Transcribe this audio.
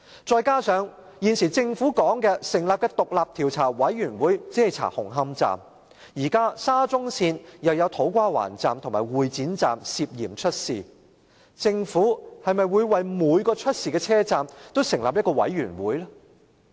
再者，政府成立的獨立調查委員會只會調查紅磡站，但沙中線的土瓜灣站和會展站亦涉嫌出事，政府會否為每個出事的車站也成立獨立調查委員會？